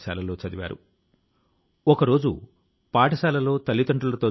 అందులో అనేక సృజనాత్మక రచనలను చేశారు